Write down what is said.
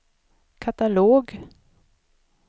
katalog